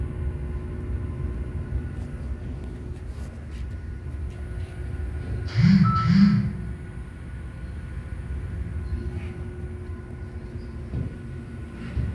ore ena kituraroto e akili neyau irbulabol le GSS